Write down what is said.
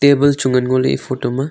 table chu ngan ngoley e photo ma.